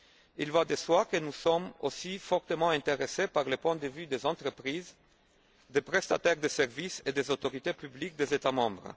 Il va de soi que nous sommes aussi fortement intéressés par les points de vue des entreprises, des prestataires de services et des autorités publiques des États membres.